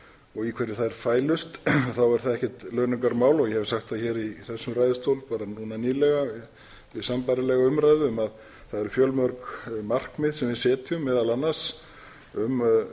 og í hverju þær fælust þá er það ekkert launungarmál og ég hef sagt það hér í þessum ræðustól núna nýlega við sambærilega umræðu að það eru fjölmörg markmið sem við setjum meðal annars um